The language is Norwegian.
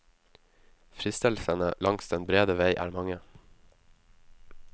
Fristelsene langs den brede vei er mange.